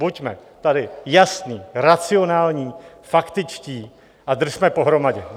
Buďme tady jasní, racionální, faktičtí a držme pohromadě!